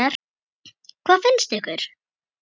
Hvað finnst ykkur?